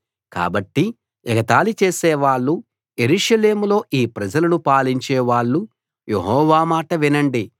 కాబట్టి ఎగతాళి చేసేవాళ్ళూ యెరూషలేములో ఈ ప్రజలను పాలించే వాళ్ళు యెహోవా మాట వినండి